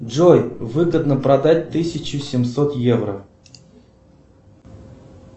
джой выгодно продать тысячу семьсот евро